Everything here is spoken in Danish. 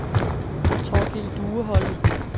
Thorkil Dueholm